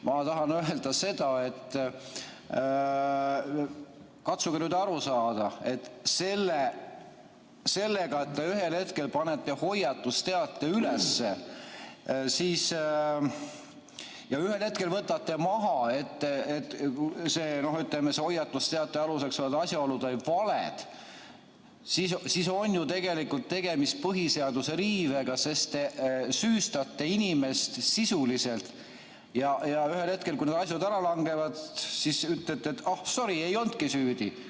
Ma tahan öelda seda, et katsuge nüüd aru saada, et see, et te ühel hetkel panete hoiatusteate üles ja teisel hetkel võtate maha, kuna hoiatusteate aluseks olevad asjaolud osutusid valeks, on ju tegelikult põhiseaduse riive, sest te süüstate inimest sisuliselt, ja ühel hetkel, kui need asjad ära langevad, ütlete, et ah, sorry, ei olnudki süüdi.